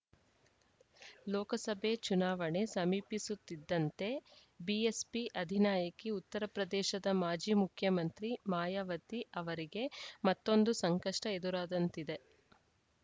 ಲೋಕಸಭೆ ಚುನಾವಣೆ ಸಮೀಪಿಸುತ್ತಿದ್ದಂತೆ ಬಿಎಸ್ಪಿ ಅಧಿನಾಯಕಿ ಉತ್ತರಪ್ರದೇಶದ ಮಾಜಿ ಮುಖ್ಯಮಂತ್ರಿ ಮಾಯಾವತಿ ಅವರಿಗೆ ಮತ್ತೊಂದು ಸಂಕಷ್ಟಎದುರಾದಂತಿದೆ